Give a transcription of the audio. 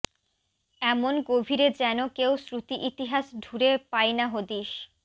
এমন গভীরে যেনো কেউ শ্রুতিইতিহাস ঢুরে পায় না হদিস